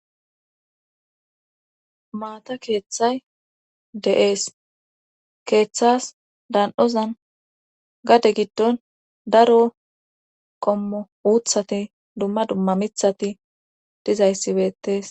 maata keeththay de7ees keeththas dan7ozan gade giddon daro kommo uuthati dumma dumma mithati dizayssibeettees